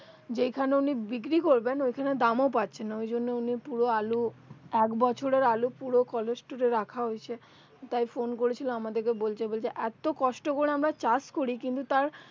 যেই খানে উনি বিক্রি করবেন ওই খানে দাম ও পাচ্ছে না ওই জন্য উনি পুরো আলু এক বছরের আলু পুরো cholesterol এ রাখা হয়েছে তাই ফোন করেছিল আমাদের কে বলতে বলতে এতো কষ্ট করে আমরা চাষ কোরি কিন্তু তার